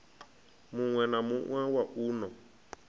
muwe na muwe wa uno